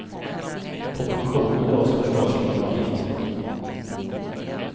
På pensioner dras förstås ingen avgift.